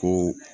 Ko